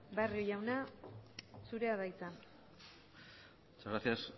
barrio jauna zurea da hitza muchas gracias